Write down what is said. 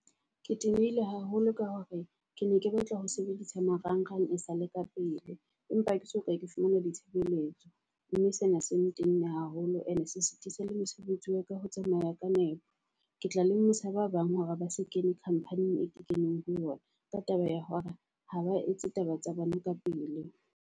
Ke tenehile haholo ka hore ke ne ke batla ho sebedisa marang-rang e sale ka pele. Empa ke soka ke fumana di tshebeletso mme sena se ntenne haholo. Ene se setiisa le mosebetsi wa ka ho tsamaya ka nepo. Ke tla lemosa ba bang hore ba se kene company-ing eo ke keneng ho yona. Ka taba ya hore ha ba etse taba tsa bona ka pele.